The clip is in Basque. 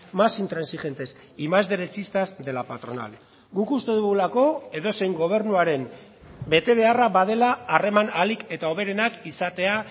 más intransigentes y más derechistas de la patronal guk uste dugulako edozein gobernuaren betebeharra badela harreman ahalik eta hoberenak izatea